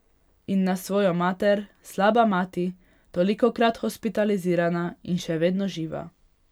In na svojo mater, slaba mati, tolikokrat hospitalizirana in še vedno živa.